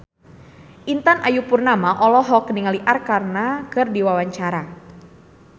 Intan Ayu Purnama olohok ningali Arkarna keur diwawancara